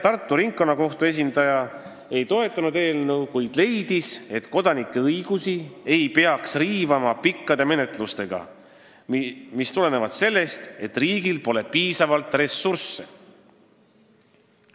Tartu Ringkonnakohtu esindaja ei toetanud eelnõu, kuid leidis, et kodanike õigusi ei peaks riivama pikkade menetlustega, mis tulenevad sellest, et riigil pole piisavalt ressursse.